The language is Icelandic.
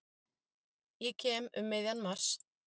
Ég kem um miðjan mars.